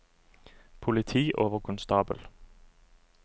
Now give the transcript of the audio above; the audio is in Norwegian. politioverkonstabel